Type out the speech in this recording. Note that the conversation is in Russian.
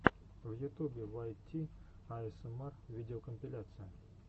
в ютубе вайт ти аэсэмар видеокомпиляция